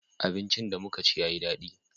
abinci da muka ci ya yi dadi